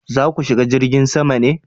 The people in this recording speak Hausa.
za ku shiga jirgin sama ne?